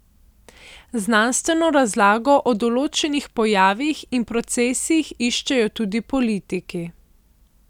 Znanstveno razlago o določenih pojavih in procesih iščejo tudi politiki.